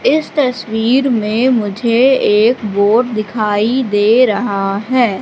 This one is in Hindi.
इस तस्वीर में मुझे एक बोर्ड दिखाई दे रहा है।